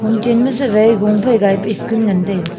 hom chenma sivai gungphai gaipu school ngantaiga.